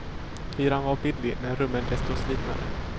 Hyran var billig, men rummen desto slitnare.